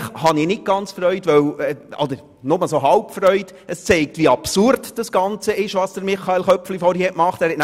Eigentlich habe ich nur halb Freude, denn es zeigt, wie absurd das ist, was Grossrat Köpfli gemacht hat.